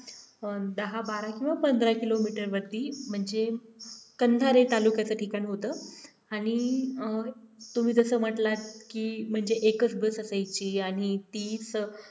दहा-बारा किंवा पंधरा kilometer वरती म्हणजे कंधारे तालुक्याचे ठिकाण होतं आणि तुम्ही तसं म्हटलं की म्हणजे एकच bus असायची आणि तीच